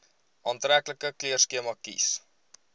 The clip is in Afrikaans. aantreklike kleurskema kies